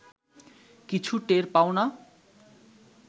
কিছু টের পাও না